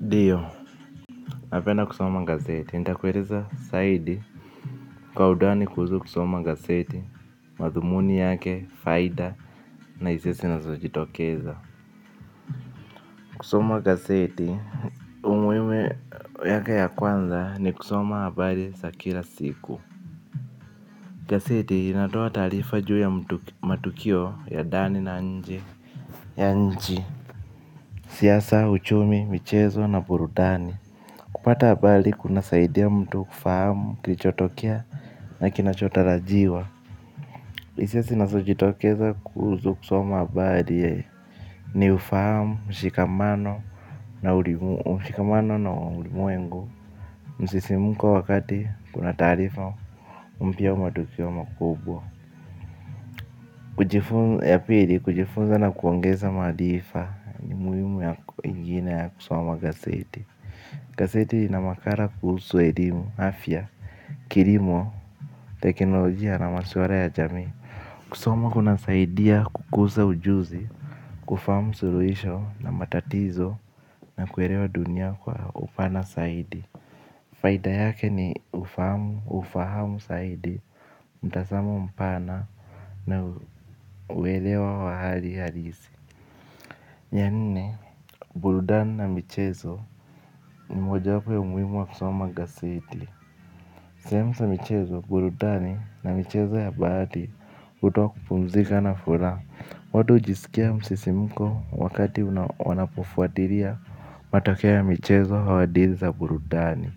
Ndiyo napenda kusoma gazeti, nitakueleza zaidi kwa undani kuhusu kusoma gazeti, madhumuni yake, faida na hisia zinazojitokeza kusoma gazeti umuhimu yake ya kwanza ni kusoma habari za kila siku. Gazeti inatoa taarifa juu ya matukio ya ndani na nje ya nchi siasa, uchumi, michezo na burudani. Kupata habari kunasaidia mtu kufahamu, kilichotokea na kinachotarajiwa. Hisia zinazojitokeza kuhusu kusoma habari ni ufahamu, mshikamano na ulimwengu. Msisimko wakati kuna taarifa mpya au matukio makubwa. Ya pili kujifunza na kuongeza maarifa ni umuhimu ingine ya kusoma gazeti. Gazeti lina makali kuhusu elimu, afya, kilimo teknolojia na maswala ya jamii. Kusoma kunasaidia kukuza ujuzi, kufahamu suluhisho na matatizo na kuelewa dunia kwa upana zaidi. Faida yake ni ufahamu, ufahamu zaidi, mtazamo mpana na uelewa wa hali halisi. Ya nne, burudani na michezo ni mojawapo ya umuhimu ya kusoma gazeti. Sehemu za michezo, burudani na michezo ya bahati hutoa kupumzika na furaha. Watu hujisikia msisimko wakati wanapofuatilia matokeo ya michezo au dili za burudani.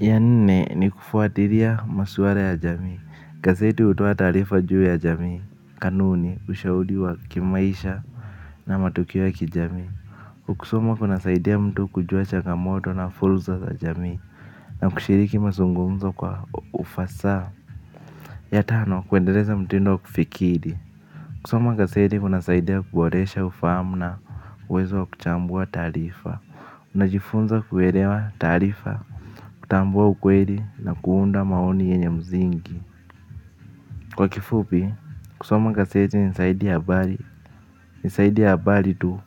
Ya nne ni kufuatilia masuala ya jamii. Gazeti hutoa taarifa juu ya jamii, kanuni, ushauri wa kimaisha na matukio ya kijamii. Kusoma kunasaidia mtu kujua chagamoto na fursa za jamii. Na kushiriki mazungumzo kwa ufasaha. Ya tano kuendeleza mtindo wa kufikiri kusoma gazeti kunasaidia kuboresha ufahamu na uwezo wa kuchambua taarifa. Najifunza kuelewa taarifa, kutambua ukweli na kuunda maoni yenye msingi. Kwa kifupi kusoma gazeti ni zaidi ya habari tu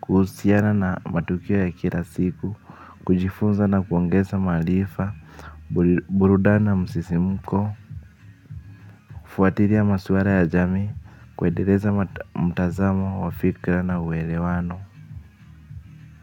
kuhusiana na matukio ya kila siku. Kujifunza na kuongeza maarifa burudani na msisimko, kufuatilia maswala ya jamii kuendeleza mtazamo wa fikra na uelewano.